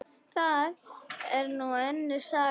Það er nú önnur saga.